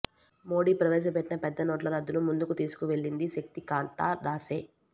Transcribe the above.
మోదీ ప్రవేశపెట్టిన పెద్ద నోట్లు రద్దును ముందుకు తీసుకువెళ్లింది శక్తికాంతా దాసే